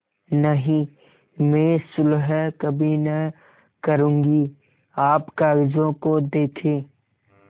नहीं मैं सुलह कभी न करुँगी आप कागजों को देखें